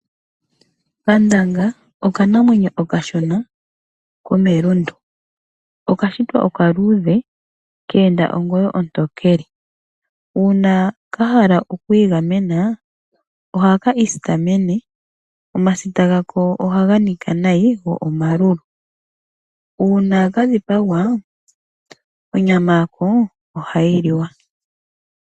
Nkandanga okanamwenyo okashona komelundu, okashitwa oka luudhe ke enda ongoyo ontokele. Uuna kahala oku igamena ohaka isitamene, omasita gako ohaga nika nayi go omalulu. Uuna kadhipagwa onyama yako ohayi liwa.